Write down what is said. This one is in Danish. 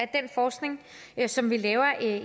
den forskning som vi laver